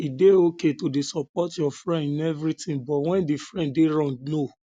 e de okay to de support your friend in everything but when di friend de wrong no